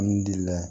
N delila